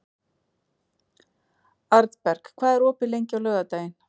Arnberg, hvað er opið lengi á laugardaginn?